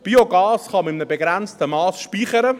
Biogas kann man in einem begrenzten Mass speichern.